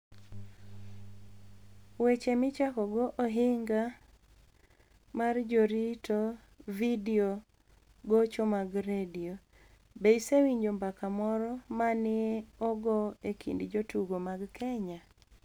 Weche Michakogo Ohiniga mar Jarito Vidio Gocho mag Redio. Be isewinijo mbaka moro ma ni e ogo e kinid jotugo mag Keniya?